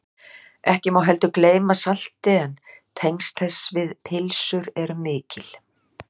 Ekki má heldur gleyma salti en tengsl þess við pylsur eru mikil.